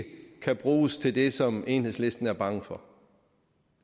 ikke kan bruges til det som enhedslisten er bange for